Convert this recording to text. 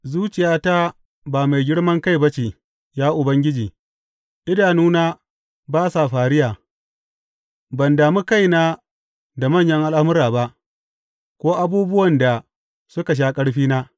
Zuciyata ba mai girman kai ba ce, ya Ubangiji, idanuna ba sa fariya; ban dami kaina da manyan al’amura ba ko abubuwan da suka sha ƙarfina.